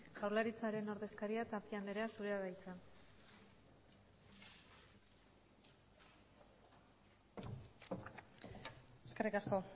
jaurlaritzaren ordezkaria tapia andrea zurea da hitza eskerrik asko